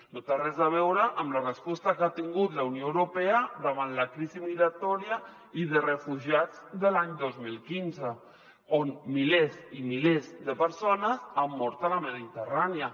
no té res a veure amb la resposta que ha tingut la unió europea davant la crisi migratòria i de refugiats de l’any dos mil quinze on milers i milers de persones han mort a la mediterrània